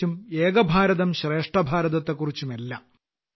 ക്കുറിച്ചും ഏകഭാരതം ശ്രേഷ്ഠഭാരതത്തെക്കുറിച്ചും എല്ലാം